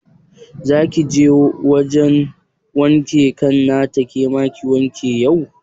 Za kije wajan wankin kan nata ke ma ki wanke kanki yau?